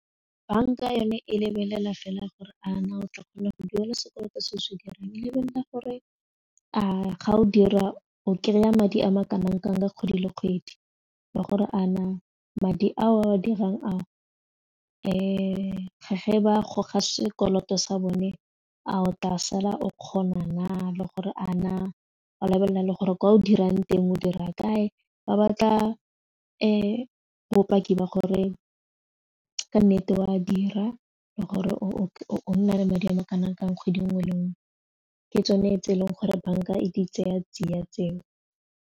Banka yone e lebelela fela a gore a na o tla kgona go duela sekoloto se o se dirang lebelela gore a ga o dira o kry-a madi a ma kanang kang ka kgwedi le kgwedi le gore a na madi ao a dirang ao ge ba goga sekoloto sa bone a o tla sala o kgona na le gore a na wa lebelela le gore kwa o dirang teng o dira kae ba batla bopaki ba gore ka nnete o a dira le gore o nna re madi a kanang kang kgwedi nngwe le nngwe ke tsone tse e leng gore banka e di tsaya tsiya tseo.